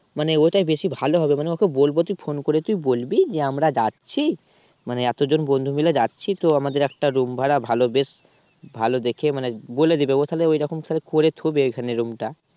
মানে ওটাই বেশি ভালো হবে মানে ওকে বলবো তুই ফোন করে তুই বলবি যে আমরা যাচ্ছি তাহলে এতজন বন্ধু মিলে যাচ্ছি তো আমাদের একটা Room ভাড়া ভালো বেশ ভালো দেখে মানে বলে দেবে ও তাহলে ওখানে ওই রকম করে থুবে ওখানে Room টা।